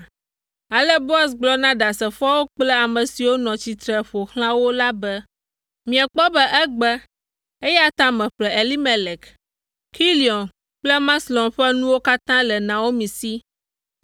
Ale Boaz gblɔ na ɖasefoawo kple ame siwo nɔ tsitre ƒo xlã wo la be, “Miekpɔ be egbe, eya ta meƒle Elimelek, Kilion kple Maxlon ƒe nuwo katã le Naomi si,